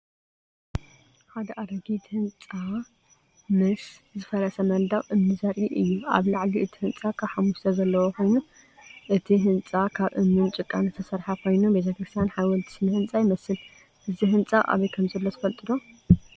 ሓደ ኣረጊት ህንጻ ምስ ዝፈረሰ መንደቕ እምኒ ዘርኢ እዩ። ኣብ ላዕሊ እቲ ህንጻ ካብ ሓሙሽተ ዘለዎ ኮይኑ፡ እቲ ህንጻ ካብ እምንን ጭቃን ዝተሰርሐ ኮይኑ ቤተክርስትያን/ ሓወልቲ ስነ ህንጻ ይመስል። እዚ ህንጻ ኣበይ ከምዘሎ ትፈልጡ ዶ?